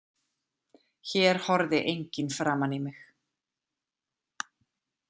Hér horfði enginn framan í mig.